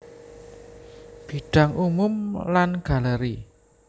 Bidang umum lan galeri